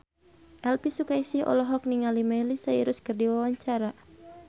Elvi Sukaesih olohok ningali Miley Cyrus keur diwawancara